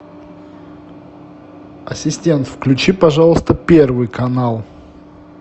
ассистент включи пожалуйста первый канал